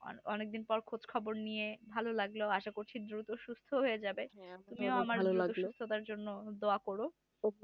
অনেকদিন পর খোঁজখবর নিয়ে ভালো লাগলো আশা করছি দূত সুস্ত হয়ে যাবে তুমিও আমার জন্য দোয়া করো